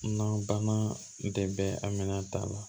Nanbana tɛ a minɛn ta la